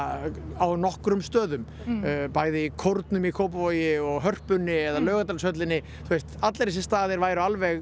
á nokkrum stöðum bæði í kórnum í Kópavogi og Hörpunni eða Laugardalshöllinni þú veist allir þessir staðir væru alveg